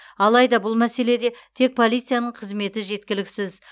алайда бұл мәселеде тек полицияның қызметі жеткіліксіз